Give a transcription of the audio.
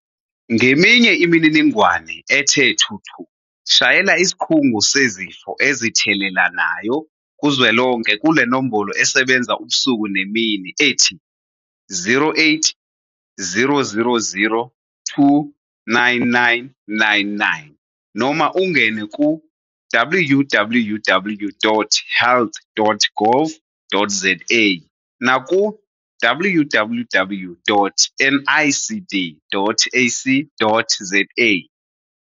Ngeminye imininingwane ethe thuthu shayela Isikhungo Sezifo Ezithelelanayo Kuzwelonke kule nombolo esebenza ubusuku nemini ethi- 0800 029 999 noma ungene ku- www.health.gov.za naku- www.nicd.ac.za